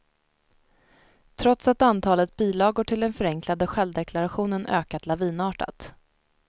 Trots att antalet bilagor till den förenklade självdeklarationen ökat lavinartat.